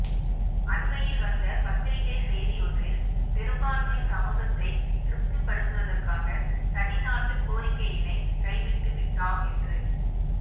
அண்மையில் வந்த பத்திரிகைச் செய்தியொன்றில் பெரும்பான்மைச் சமூகத்தைத் திருப்திப்படுத்தவதற்காக தனிநாட்டுக் கோரிக்கையினை கைவிட்டு விட்டாம் என்று